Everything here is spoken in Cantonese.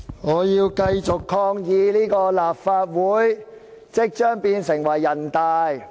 我要繼續抗議立法會即將變成人大。